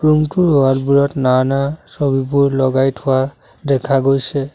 Room টোৰ wall বোৰত নানা ছবিবোৰ লগাই থোৱা দেখা গৈছে।